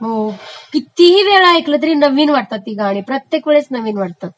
हो..कितीही वेळा ऐकली तरी नवीन वाटतात गाणी ती गाणी, प्रत्येक वेळेस नवीन वाटतात